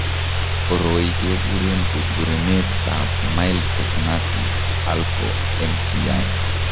Koroi kekuren burburenet ab mild cognative alko MCI